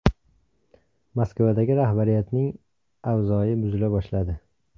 Moskvadagi rahbariyatning avzoyi buzila boshladi.